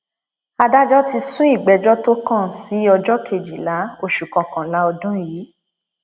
adájọ ti sún ìgbẹjọ tó kàn sí ọjọ kejìlá oṣù kọkànlá ọdún yìí